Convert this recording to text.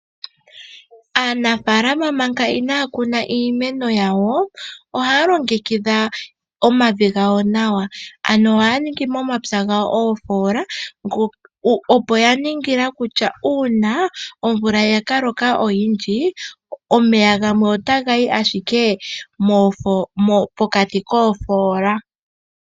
Aanafaalama manga inaaya kuna iimeno yawo ohaya longekidha omavi gawo ano nawa, ohaya ningi momapya gawo oofoola, opo ya ningila kutya uuna omvula yaka loka oyindji omeya gamwe otaga yi ashike pokati koofoola.